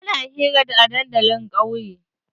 Ana hira a dandalin ƙauye.